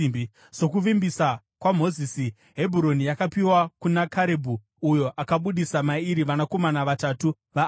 Sokuvimbisa kwaMozisi, Hebhuroni yakapiwa kuna Karebhu, uyo akabudisa mairi vanakomana vatatu vaAnaki.